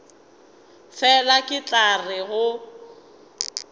fela ke tla re go